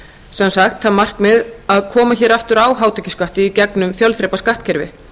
sem sagt var markmiðið að koma hér aftur á hátekjuskatti í gegnum fjölþrepaskattkerfi